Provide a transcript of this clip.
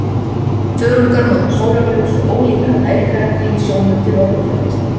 Þörungar nota sólarljós og ólífræn næringarefni í sjónum til orkuframleiðslu.